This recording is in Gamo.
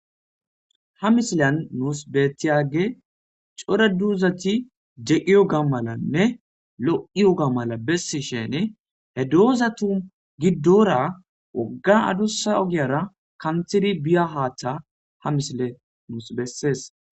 ha misilan nuus beettiyage core duuzati jeqiyo gammalanne lo7iyo gammala bessi shene he doozatu giddora ogga adussa ogiyara kanthiri biya haaththa ha misile nuus bessees